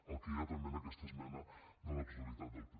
el que hi ha també en aquesta esmena de la totalitat del pp